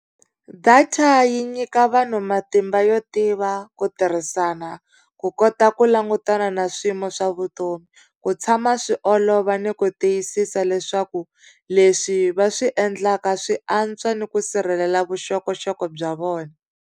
Data yi nyika vanhu matimba yo tiva, ku tirhisana, ku kota ku langutana na swiyimo swa vutomi, ku tshama swi olova ni ku tiyisisa leswaku leswi va swi endlaka swi antswa ni ku sirhelela vuxokoxoko bya vona.